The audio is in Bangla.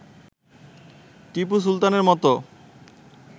টিপু সুলতানের মতো